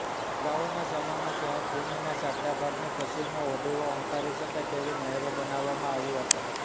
અગાઉના સમયમાં સંયોગીભૂમિના સાંકડા ભાગની પશ્ચિમે હોડીઓ હંકારી શકાય તેવી નહેરો બનાવવામાં આવી હતા